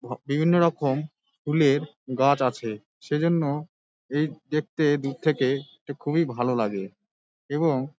ভ বিভিন্ন রকম ফুলের গাছ আছে সেইজন্য এই দেখতে দূর থেকে খুবই ভালো লাগে এবং --